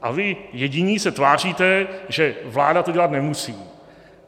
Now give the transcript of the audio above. A vy jediní se tváříte, že vláda to dělat nemusí.